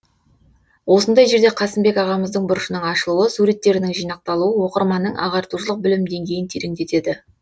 осындай жерде қасымбек ағамыздың бұрышының ашылуы суреттерінің жинақталуы оқырманның ағартушылық білім деңгейін тереңдетеді